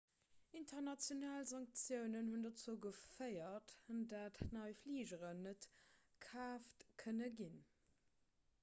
international sanktiounen hunn dozou geféiert datt nei fligeren net kaaft kënne ginn